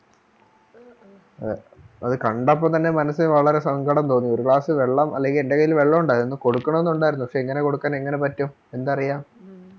അതെ അതുകണ്ടപ്പോൾ തന്നെ മനസിനു വളരെ സങ്കടം തോനി ഒരു വെള്ളം അല്ലെങ്കിൽ എന്റെ കയ്യിൽ വെള്ളം ഉണ്ടായിരുന്നു കൊടുക്കണം എന്നുണ്ടായിരുന്നു പക്ഷെ എങ്ങനെ കൊടുക്കാൻ എങ്ങനെ പറ്റും എന്തറിയാം